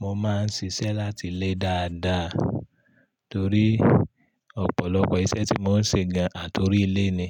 Mo máa ń ṣiṣẹ́ láti ilé dáadáa torí ọ̀pọ̀lọpọ̀ iṣẹ́ tí mò ń ṣe gan àtórí ilé ni.